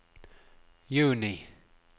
juni